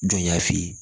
Jɔn y'a f'i ye